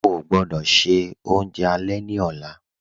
Ọ̀ gbọdọ́ ṣẹ ọ̀unjẹ alẹ̀ ni ọ̀la